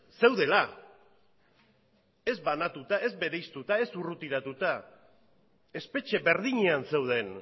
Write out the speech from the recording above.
zeudela ez banatuta ez bereiztuta ez urrutiratuta espetxe berdinean zeuden